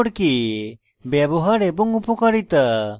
gchempaint সম্পর্কে ব্যবহার এবং উপকারিতা